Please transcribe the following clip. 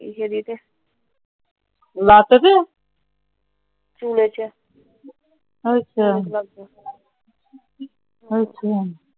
ਲੱਥ ਗਿਆ।